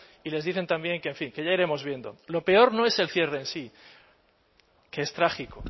y les dicen también que en fin que ya iremos viendo lo peor no es el cierre sí que es trágico